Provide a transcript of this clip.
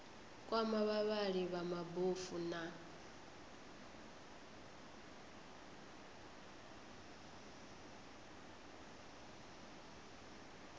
kwama vhavhali vha mabofu na